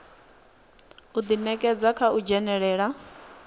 u ḓinekedza kha u dzhenelela